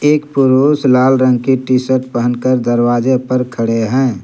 एक पुरुष लाल रंग की टी_शर्ट पहनकर दरवाजे पर खड़े हैं।